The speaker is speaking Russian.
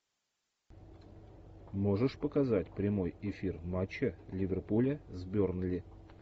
можешь показать прямой эфир матча ливерпуля с бернли